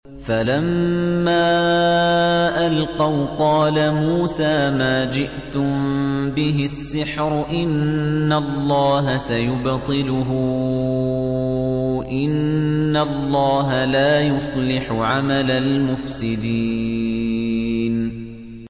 فَلَمَّا أَلْقَوْا قَالَ مُوسَىٰ مَا جِئْتُم بِهِ السِّحْرُ ۖ إِنَّ اللَّهَ سَيُبْطِلُهُ ۖ إِنَّ اللَّهَ لَا يُصْلِحُ عَمَلَ الْمُفْسِدِينَ